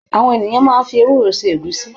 Àwọn ènìyàn maá ń fi ewúro se Ẹ̀gúsí